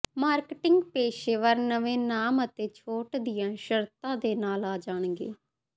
marketing ਪੇਸ਼ੇਵਰ ਨਵੇਂ ਨਾਮ ਅਤੇ ਛੋਟ ਦੀਆਂ ਸ਼ਰਤਾਂ ਦੇ ਨਾਲ ਆ ਜਾਣਗੇ